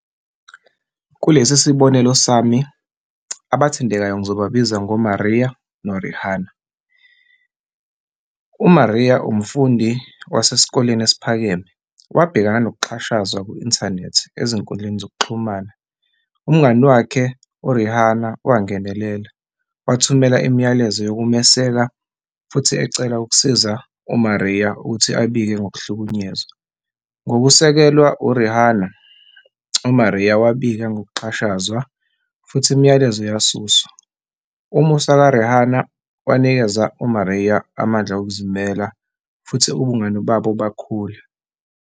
Kulesi sibonelo sami, abathandekayo ngizobabiza ngoMaria noRihanna. UMaria umfundi wasesikoleni esiphakeme. Wabhekana nokuxhashazwa ku-inthanethi, ezinkundleni zokuxhumana. Umngani wakhe uRihanna wangenelela, ethumela imiyalezo yokumeseka futhi ecela ukusiza uMaria ukuthi abike ngokuhlukunyezwa. Ngokusekelwa uRihanna, uMaria wabika ngokuxhashazwa futhi imiyalezo yasuswa. Umusa kaRihanna wanikeza uMaria amandla okuzimela, futhi ubungani babo bakhula.